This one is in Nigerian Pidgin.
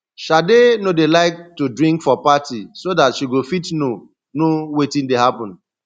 shade no dey like to drink for party so dat she go fit know know wetin dey happen